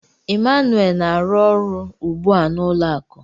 Emmanuel na-arụ ọrụ ugbu a n'ụlọ akụ.